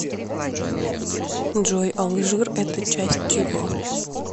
джой алжир это часть чего